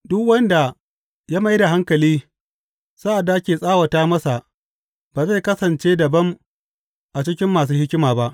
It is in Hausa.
Duk wanda ya mai da hankali sa’ad da ake tsawata masa ba zai kasance dabam a cikin masu hikima ba.